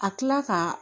A kila ka